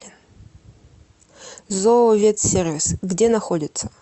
зооветсервис где находится